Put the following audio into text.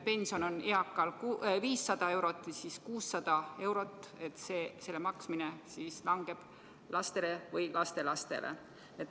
Pension on eakal 500 või 600 eurot, ülejäänu maksmine langeb laste või lastelaste õlule.